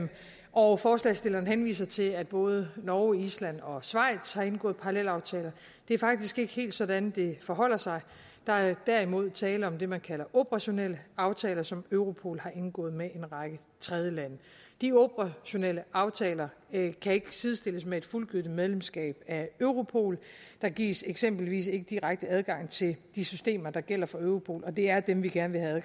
og forslagsstillerne henviser til at både norge island og schweiz har indgået parallelaftaler det er faktisk ikke helt sådan det forholder sig der er derimod tale om det man kalder operationelle aftaler som europol har indgået med en række tredjelande de operationelle aftaler kan ikke sidestilles med et fuldgyldigt medlemskab af europol der gives eksempelvis ikke direkte adgang til de systemer der gælder for europol og det er dem vi gerne vil have